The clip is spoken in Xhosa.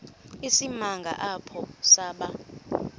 isimanga apho saba